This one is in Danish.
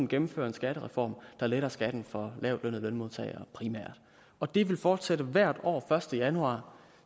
gennemføre en skattereform der letter skatten for lavtlønnede lønmodtagere og det vil fortsætte hvert år første januar